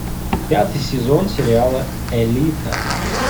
пятый сезон сериала элита